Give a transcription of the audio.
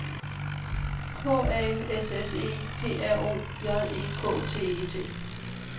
K A S S E P R O J E K T E T